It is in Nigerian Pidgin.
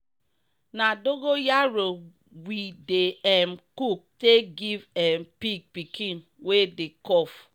na bita leaf wata we dey take baf cow wey go chop for area wey